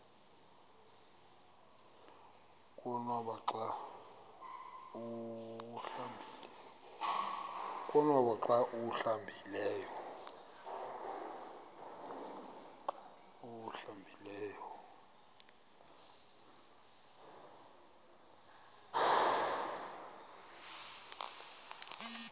konwaba xa awuhlambileyo